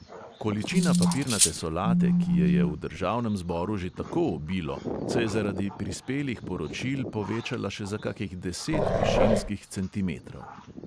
Količina papirnate solate, ki je je v državnem zboru že tako obilo, se je zaradi prispelih poročil povečala še za kakih deset višinskih centimetrov.